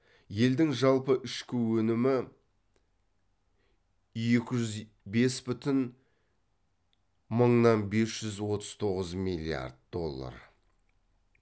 елдің жалпы ішкі өнімі екі жүз бес бүтін мыңнан бес жүз отыз тоғыз миллиард доллар